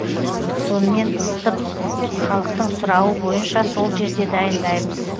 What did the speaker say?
сонымен ыстып халықтың сұрауы бойынша сол жерде дайындаймыз